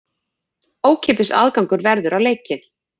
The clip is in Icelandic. Ókeypis aðgangur verður á leikinn.